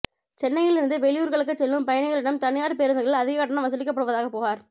சென்னையிலிருந்து வெளியூா்களுக்குச் செல்லும் பயணிகளிடம் தனியாா் பேருந்துகளில் அதிக கட்டணம் வசூலிக்கப்படுவதாக புகாா்